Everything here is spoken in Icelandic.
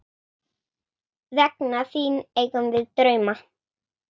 Vegna þín eigum við drauma.